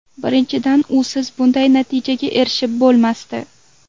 Birinchidan, usiz bunday natijaga erishib bo‘lmasdi.